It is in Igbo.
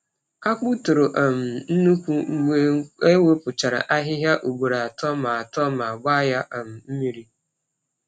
Akpụ toro um nnukwu mgbe e wepụchara ahịhịa ugboro atọ ma atọ ma gbaa ya um mmiri.